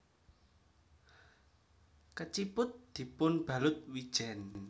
Keciput dipunbalut wijen